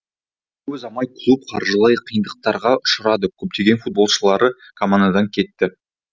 көп ұзамай клуб қаржылай қиындықтарға ұшырады көптеген футболшылары командадан кетті